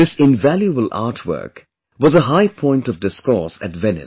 This invaluable artwork was a high point of discourse at Venice